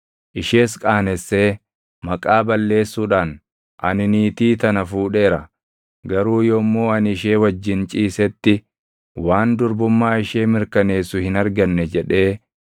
ishees qaanessee maqaa balleessuudhaan, “Ani niitii tana fuudheera; garuu yommuu ani ishee wajjin ciisetti waan durbummaa ishee mirkaneessu hin arganne” jedhee,